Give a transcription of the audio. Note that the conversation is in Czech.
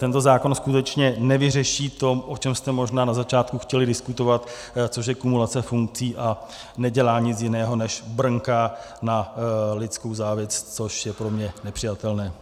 Tento zákon skutečně nevyřeší to, o čem jste možná na začátku chtěli diskutovat, což je kumulace funkci, a nedělá nic jiného, než brnká na lidskou závist, což je pro mě nepřijatelné.